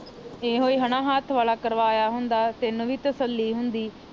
ਇਹੋ ਹਨਾ ਹੱਥ ਵਾਲਾ ਕਰਵਾਇਆ ਹੁੰਦਾ ਤੇ ਤੈਨੂੰ ਵੀ ਤਸਲੀ ਹੁੰਦੀ